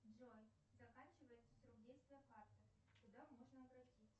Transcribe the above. джой заканчивается срок действия карты куда можно обратиться